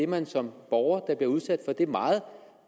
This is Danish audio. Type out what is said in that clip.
man som borger der bliver udsat for det meget